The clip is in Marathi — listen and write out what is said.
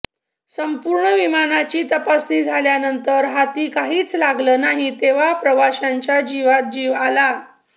संपूर्ण विमानाची तपासणी झाल्यानंतर हाती काहीच लागलं नाही तेव्हा प्रवाशांच्या जीवात जीव आला